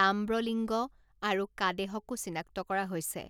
Tambralinga, আৰু কাদেহকো চিনাক্ত কৰা হৈছে।